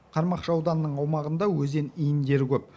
қармақшы ауданының аумағында өзен иіндері көп